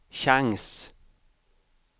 chans